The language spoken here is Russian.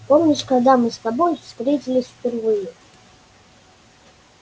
помнишь когда мы с тобой встретились впервые